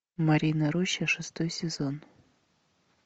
марьина роща шестой сезон